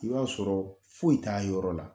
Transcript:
I b'a sɔrɔ foyi t'a yɔrɔ la.